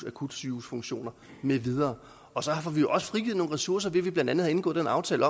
akutsygehusfunktioner med videre og så får vi jo også frigivet nogle ressourcer ved at vi blandt andet har indgået den aftale